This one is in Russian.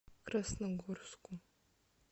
красногорску